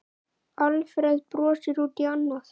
Alfreð brosir út í annað.